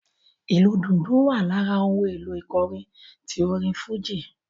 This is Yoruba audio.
Ìlù dùndún wa lára ohùn èlò ìkọrin tí orin fújì